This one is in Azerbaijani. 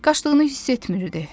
Qaçdığını hiss etmirdi.